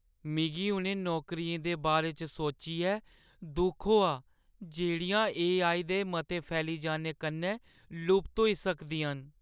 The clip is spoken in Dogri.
मिगी उ'नें नौकरियें दे बारे च सोचियै दुख होआ जेह्ड़ियां एआई दे मते फैली जाने कन्नै लुप्त होई सकदियां न।